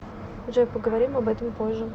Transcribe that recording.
джой поговорим об этом позже